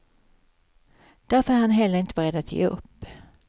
Därför är han heller inte beredd att ge upp.